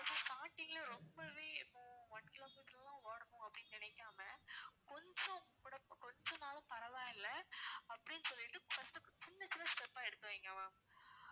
first starting ல ரொம்பவே இப்போ one kilometer லாம் ஓடனும் அப்படின்னு நினைக்காம கொஞ்சம் கூட கொஞ்சம் நாLளும் பரவாயில்ல அப்படின்னு சொல்லிட்டு first சின்ன சின்ன step ஆ எடுத்து வைங்க ma'am